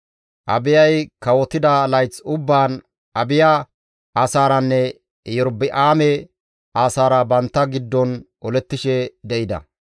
Abiyay kawotida layth ubbaan Abiya asaaranne Erobi7aame asaara bantta giddon olettishe de7ida.